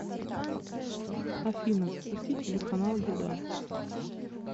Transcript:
афина запустить телеканал еда